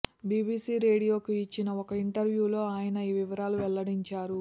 BBC రేడియోకు ఇచ్చిన ఓ ఇంటర్వ్యూలో ఆయన ఈ వివరాలను వెల్లడించారు